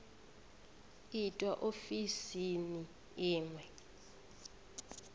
itwa ofisini i ṅ we